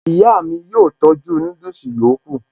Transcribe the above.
Ìyá mi yóò tọ́jú núdùsì yòókù